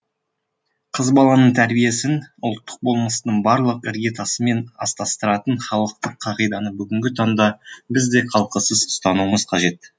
қыз баланың тәрбиесін ұлттық болмыстың барлық іргетасымен астастыратын халықтық қағиданы бүгінгі таңда біз де қалтқысыз ұстануымыз қажет